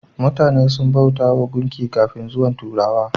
Mutane sun bautawa gunki kafin zuwan turawa.